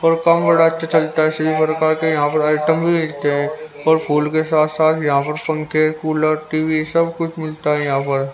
और काम बड़ा अच्छा चलता है यहां पर आइटम भी मिलते हैं और फूल के साथ साथ यहां पर फंखे कूलर टी_वी सब कुछ मिलता है यहां पर--